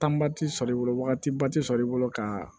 ti sɔrɔ i bolo wagatiba ti sɔrɔ i bolo ka